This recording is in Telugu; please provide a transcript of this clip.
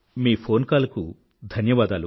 మీ ఫోన్ కాల్ కు ధన్యవాదాలు